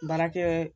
Baarakɛ